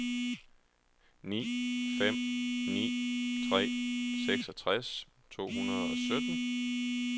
ni fem ni tre seksogtres to hundrede og sytten